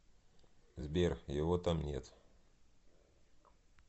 сбер его там нет